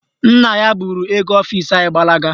Nna ya buru oge ọfisi anyị gbalaga.